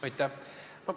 Aitäh!